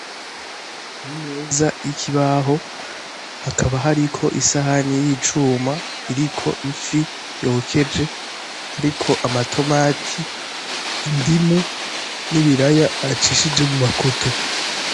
Imeza y'ikibaho, hakaba hariko isihani yicuma, iriko ifi yokeje hariko amatomati, indimu n'ibiraya bacishije mu makoto.